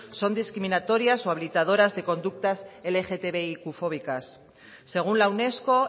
son discriminatorias o habilitadoras de conductas lgtbiqfóbicas según la unesco